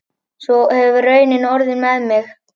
Svo hefur raunin orðið með mig.